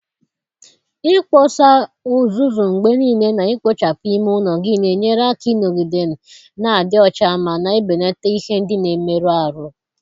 Ikposa uzuzu mgbe niile na ikpochapụ ime ụlọ gị na-enyere aka ịnọgide na-adị ọcha ma na-ebelata ihe ndị na-emerụ ahụ.